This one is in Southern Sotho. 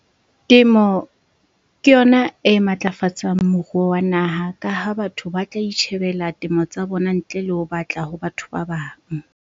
Temo ke yona e matlafatsang moruo wa naha ka ha batho ba tla itjhebela temo tsa bona ntle le ho batla ho batho ba bang.